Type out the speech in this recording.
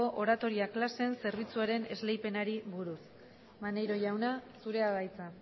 oratoria klaseen zerbitzuaren esleipenari buruz maneiro jauna zurea da hitza